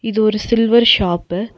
இது ஒரு silver shop .